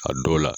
A dɔw la